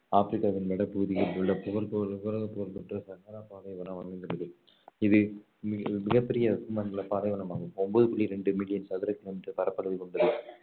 ஆப்ரிக்காவின் வடப்பகுதியில் உள்ள உலகப் புகழ் பெற்ற சகாரா பாலைவனம் அமைந்துள்ளது இது மிகப்~ மிகப் பெரிய வெப்ப மண்டல பாலைவனம் ஆகும் ஒன்பது புள்ளி ரெண்டு மில்லியன் சதுர கிலோமீட்டர் பரப்பளவு கொண்டுள்ளது